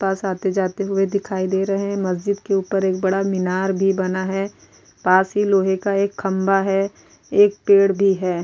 पास आते जाते हुए दिखाई दे रहे है मस्जिद के ऊपर एक बड़ा मीनार भी बना है पास ही लोहे का एक खम्भा है एक पेड़ भी है।